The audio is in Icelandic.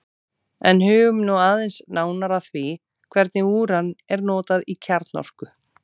en hugum nú aðeins nánar að því hvernig úran er notað í kjarnorku